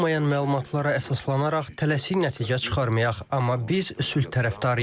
Tam olmayan məlumatlara əsaslanaraq tələsik nəticə çıxarmayaq, amma biz sülh tərəfdarıyıq.